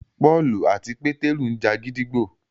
Pọ́ọ̀lù àti Pétérù ńja gídígbò